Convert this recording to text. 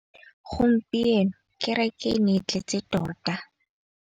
Gompieno kêrêkê e ne e tletse tota.